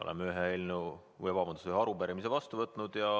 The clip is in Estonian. Oleme ühe arupärimise vastu võtnud.